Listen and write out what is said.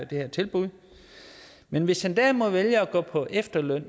det her tilbud men hvis han derimod vælger at gå på efterløn